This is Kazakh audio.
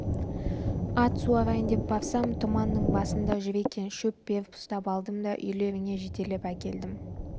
ат суарайын деп барсам тұманың басында жүр екен шөп беріп ұстап алдым да үйлеріңе жетелеп әкелдім